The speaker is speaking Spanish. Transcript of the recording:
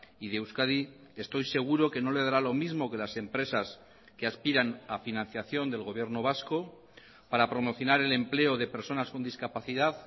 y de euskadi estoy seguro que no le dará lo mismo que las empresas que aspiran a financiación del gobierno vasco para promocionar el empleo de personas con discapacidad